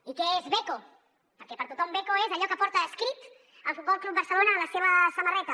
i què és beko perquè per a tothom beko és allò que porta escrit el futbol club barcelona a la seva samarreta